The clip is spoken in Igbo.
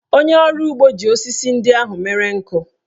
Onye ọrụ ugbo ji osisi ndị ahụ mere nkụ.